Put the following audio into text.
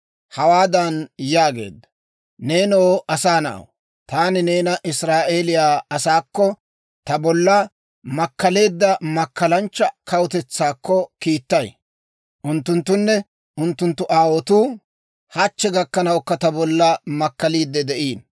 Hawaadan yaageedda; «Neenoo asaa na'aw, taani neena Israa'eeliyaa asaakko, ta bolla makkaleedda makkalanchcha kawutetsaakko kiittay; unttunttunne unttunttu aawotuu hachchi gakkanawukka ta bolla makkaliidde de'iino.